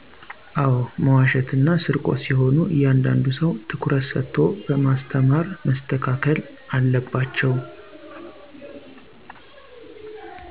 አዎ! መዋሸት እና ስርቆት ሲሆኑ እያንዳንዱ ሰው ትኩረት ሰቶ በማስተማር መስተካከል አለባቸው።